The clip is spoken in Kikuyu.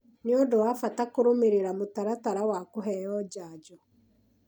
nĩ ũndũ wa bata kũrũmĩrĩra mũtaratara wa kũheo njanjo